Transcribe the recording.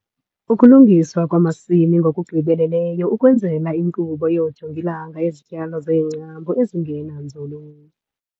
Ukulungiswa kwamasimi ngokugqibeleleyo ukwenzela inkqubo yoojongilanga yezityalo zeengcambu ezingena nzulu.